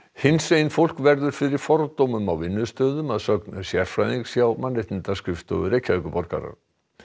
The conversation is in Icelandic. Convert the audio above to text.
hinsegin fólk verður fyrir fordómum á vinnustöðum að sögn sérfræðings hjá Mannréttindaskrifstofu Reykjavíkurborgar